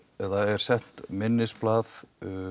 sent minnisblað